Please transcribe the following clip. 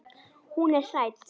Hún er hrædd.